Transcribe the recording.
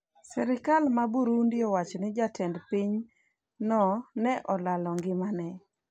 Serikal ma Burundi Owacho ni jatend piny no ne olalo ngimane